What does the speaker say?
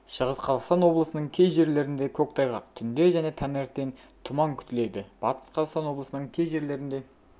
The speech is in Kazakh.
шығыс қазақстан облыстының кей жерлерінде көктайғақ түнде және таңертең тұман күтіледі батыс қазақстан облысының кей жерлерінде